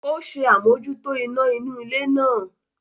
Ó ṣe àmójútó iná inú ilé náà